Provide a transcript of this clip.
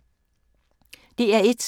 DR1